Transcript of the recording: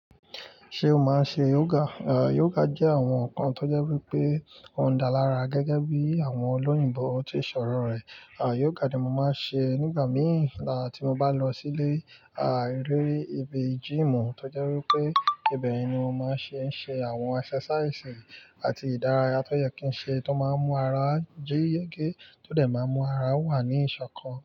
Ṣé o máa ń ṣe yoga? Yoga jẹ́ àwọn nǹkan tó jẹ́ wípé ó ń dá lára gẹ́gẹ́ bí àwọn olóyìnbo tí ṣọ̀rọ̀ rẹ̀. Yoga ni mo máa ń ṣe nígbà mìí tí mo bá ń lọ sí ilé eré ibi gym tó jẹ́ wípé ibẹ̀ yen ni mo máa ń se ń ṣe àwọn exercise àti ìdárayá tó yẹ kí ń ṣe tó máa ń mú ara jíye gé tó dẹ̀ máa ń mú ara wà ní ìṣọ̀kan.